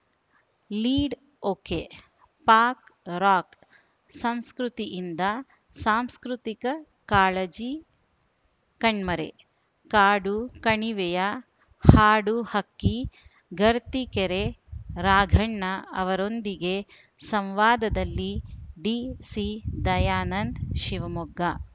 lead ಒಕೆಪಾಕ್‌ರಾಕ್‌ ಸಂಸ್ಕೃತಿಯಿಂದ ಸಾಂಸ್ಕೃತಿಕ ಕಾಳಜಿ ಕಣ್ಮರೆ ಕಾಡು ಕಣಿವೆಯ ಹಾಡುಹಕ್ಕಿ ಗರ್ತಿಕೆರೆ ರಾಘಣ್ಣ ಅವರೊಂದಿಗೆ ಸಂವಾದದಲ್ಲಿ ಡಿಸಿ ದಯಾನಂದ್‌ ಶಿವಮೊಗ್ಗ